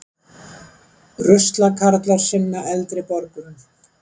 Ruslakarlar sinna eldri borgurum